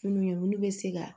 Fini bɛ se ka